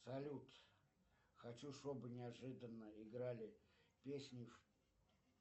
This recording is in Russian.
салют хочу чтобы неожиданно играли песни